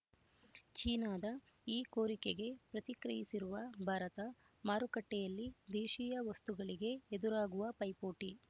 ಚೀನಾದ ಈ ಕೋರಿಕೆಗೆ ಪ್ರತಿಕ್ರಿಯಿಸಿರುವ ಭಾರತ ಮಾರುಕಟ್ಟೆಯಲ್ಲಿ ದೇಶೀಯ ವಸ್ತುಗಳಿಗೆ ಎದುರಾಗುವ ಪೈಪೋಟಿ